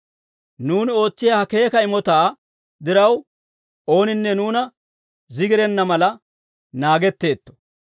Nuuni ootsiyaa ha keeka imotaa diraw, ooninne nuuna zigirenna mala naagetteetto.